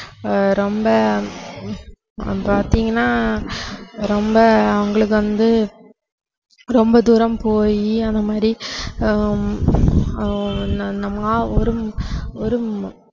ஆஹ் ரொம்ப பாத்தீங்கன்னா ரொம்ப அவங்களுக்கு வந்து ரொம்ப தூரம் போயி அந்த மாதிரி ஆஹ் ஹம் ஒரும்~ ஒரும்~